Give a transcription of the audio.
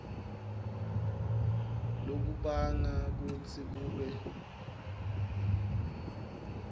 lokubanga kutsi kube